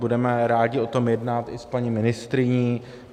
Budeme rádi o tom jednat i s paní ministryní.